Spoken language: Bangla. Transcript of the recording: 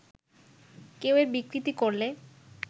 কেউ এর বিকৃতি করলে